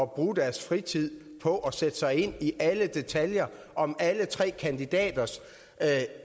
bruge deres fritid på at sætte sig ind i alle detaljer om alle tre kandidaters